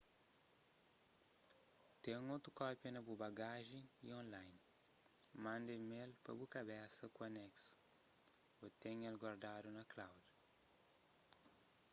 ten otu kópia na bu bagajen y online manda email pa bu kabesa ku aneksu ô ten el guardadu na cloud”